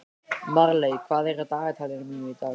Marley, hvað er í dagatalinu mínu í dag?